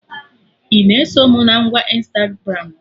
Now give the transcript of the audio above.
Ị na-eso mụ na ngwa Ịnstagramụ?